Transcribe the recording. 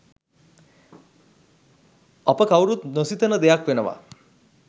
අප කවුරුත් නොසිතන දෙයක් වෙනවා